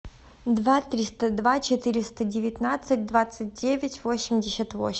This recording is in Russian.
два триста два четыреста девятнадцать двадцать девять восемьдесят восемь